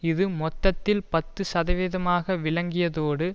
இது மொத்தத்தில் பத்து சதவீதமாக விளங்கியதோடு